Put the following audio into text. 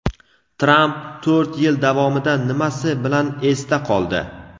Tramp to‘rt yil davomida nimasi bilan esda qoldi?.